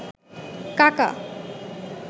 কাকা